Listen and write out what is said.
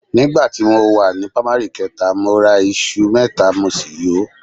Nígbà tí mo wà ní pámárì kẹta, mo ra iṣu náírà mẹ́ta mo sì yò ó